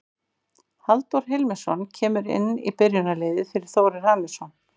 Halldór Hilmisson kemur inn í byrjunarliðið fyrir Þórir Hannesson.